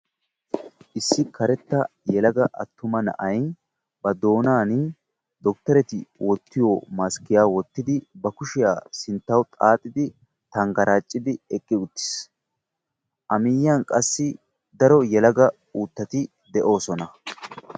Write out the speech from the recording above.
Issi karetta yelaga attuma na'ay ba doonaani dokitteretii wottiyo maskkiya wottidi ba kushiya sinttawu xaaxidi tanggaraacidi eqqi uttiis. A miyyiyan qassi daro yelaga uuttati de'oosona.